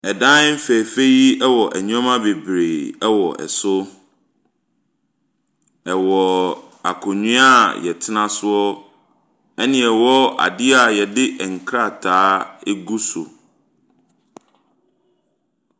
Ɛdan fɛɛfɛ yi wɔ nnoɔma bebree wɔ so. Ɛwɔ akonnwa a yɛtena so. Ɛna ɛwɔ ade a yɛde nkrataa egu so.